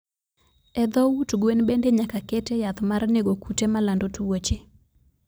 Edho ut gwen bende nyaka kete yath mar nego kute malando tuoche.